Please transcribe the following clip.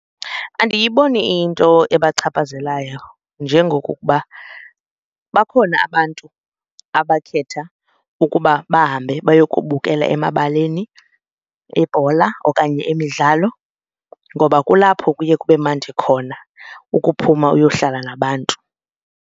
Andiyiboni iyinto ebachaphazelayo njengokuba bakhona abantu abakhetha ukuba bahambe bayokubukela emabaleni ibhola okanye imidlalo ngoba kulapho kuye kube mandi khona ukuphuma uyohlala nabantu.